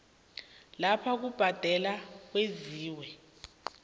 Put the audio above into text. lapho ukubhadela kwenziwa